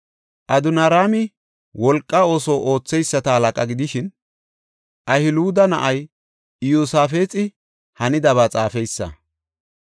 Adoniraami wolqa ooso ootheyisata halaqa gidishin, Ahiluda na7ay Iyosaafxi hanidaba xaafeysa.